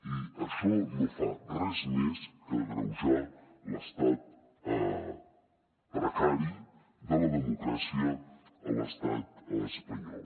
i això no fa res més que agreujar l’estat precari de la democràcia a l’estat espanyol